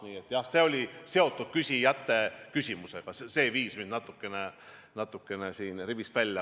Nii et jah, see oli seotud küsijate küsimusega, see viis mind natukene rivist välja.